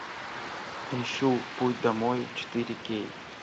ищу путь домой четыре кей